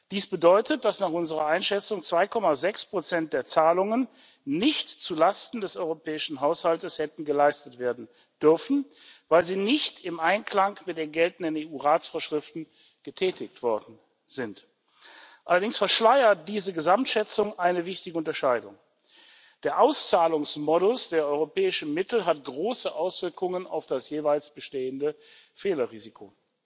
Dies bedeutet, dass nach unserer Einschätzung 2,6 der Zahlungen nicht zulasten des europäischen Haushalts hätten geleistet werden dürfen, weil sie nicht im Einklang mit den geltenden EU Rechtsvorschriften getätigt worden sind. Allerdings verschleiert diese Gesamtschätzung eine wichtige Unterscheidung Der Auszahlungsmodus der europäischen Mittel hat große Auswirkungen auf das jeweils bestehende Fehlerrisiko.